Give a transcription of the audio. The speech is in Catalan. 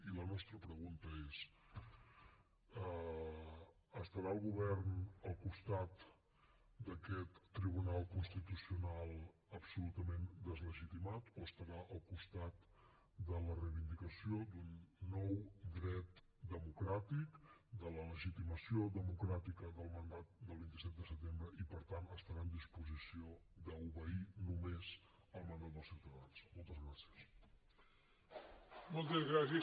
i la nostra pregunta és estarà el govern al costat d’aquest tribunal constitucional absolutament deslegitimat o estarà al costat de la reivindicació d’un nou dret democràtic de la legitimació democràtica del mandat del vint set de setembre i per tant estarà en disposició d’obeir només el mandat dels ciutadans moltes gràcies